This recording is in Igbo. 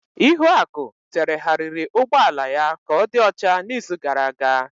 Ihuaku terehariri ụgbọ ala ya ka ọ dị ọcha n'izu gara aga.